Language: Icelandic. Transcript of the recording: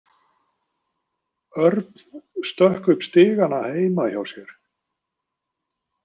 Örn stökk upp stigana heima hjá sér.